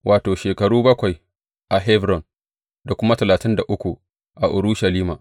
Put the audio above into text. Wato, shekaru bakwai a Hebron da kuma talatin da uku a Urushalima.